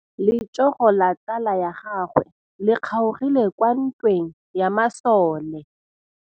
Letsôgô la tsala ya gagwe le kgaogile kwa ntweng ya masole.